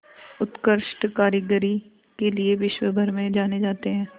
उत्कृष्ट कारीगरी के लिये विश्वभर में जाने जाते हैं